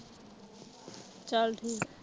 ਚੱਲ ਠੀਕ